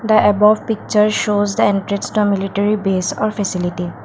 the above picture shows the entrance of military base or facility.